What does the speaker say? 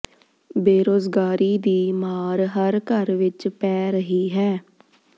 ਬੇਰੋਜ਼ਗਾਰੀ ਦੀ ਮਾਰ ਹਰ ਘਰ ਵਿੱਚ ਪੈ ਰਹੀ ਹੈ